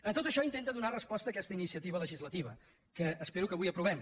a tot això intenta donar resposta aquesta iniciativa legislativa que espero que avui aprovem